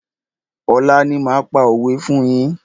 Ọ̀la ni máa pa òwé fún yín.